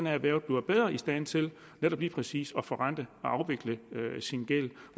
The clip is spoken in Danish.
erhvervet bliver bedre i stand til netop lige præcis at forrente og afvikle sin gæld